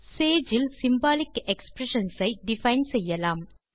Sage இல் symbolic expressions ஐ define செய்யலாம்